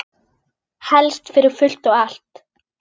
Helst fyrir fullt og allt.